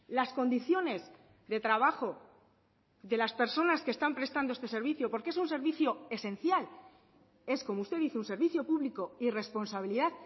las condiciones de trabajo de las personas que están prestando este servicio porque es un servicio esencial es como usted dice un servicio público y responsabilidad